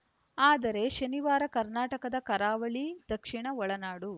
ಆದರೆ ಶನಿವಾರ ಕರ್ನಾಟಕದ ಕರಾವಳಿ ದಕ್ಷಿಣ ಒಳನಾಡು